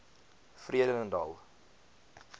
vredendal